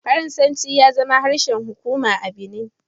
Faransanci ya zama harshen hukuma a Benin.